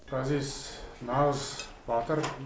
ғазиз нағыз батыр